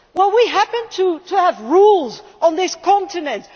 We happen to have rules on this continent.